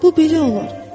Bu belə olur.